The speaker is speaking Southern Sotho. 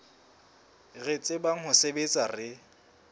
re tsebang ho sebetsa re